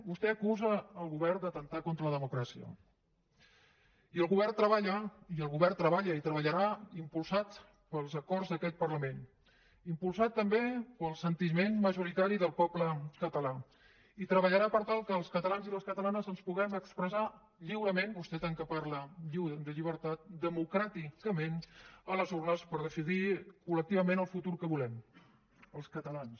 vostè acusa el govern d’atemptar contra la democràcia i el govern treballa i el govern treballa i treballarà impulsat pels acords d’aquest parlament impulsat també pel sentiment majoritari del poble català i treballarà per tal que els catalans i les catalanes ens puguem expressar lliurement vostè tant que parla de llibertat democràticament a les urnes per decidir col·lectivament el futur que volem els catalans